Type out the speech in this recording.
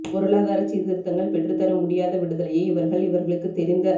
பொருளாதரச் சீர்திருத்தங்கள் பெற்றுத் தர முடியாத விடுதலையை இவர்கள் இவர்களுக்குத் தெரிந்த